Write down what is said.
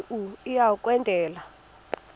kanti uia kwendela